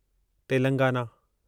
Telangana